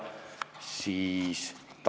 See oli tegelikult sinu seisukoht.